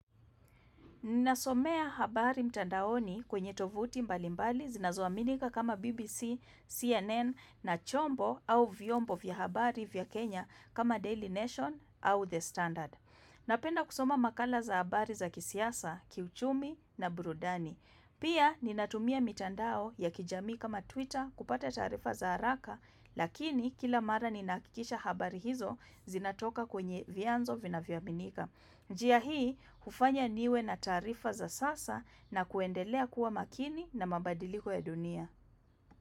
Ninasomea habari mtandaoni kwenye tovuti mbalimbali zinazoaminika kama BBC, CNN na chombo au vyombo vya habari vya Kenya kama Daily Nation au The Standard. Napenda kusoma makala za habari za kisiasa, kiuchumi na burudani. Pia ninatumia mitandao ya kijamii kama Twitter kupata taarifa za haraka lakini kila mara ninahakikisha habari hizo zinatoka kwenye vyanzo vinavyoaminika. Njia hii, hufanya niwe na taarifa za sasa na kuendelea kuwa makini na mabadiliko ya dunia.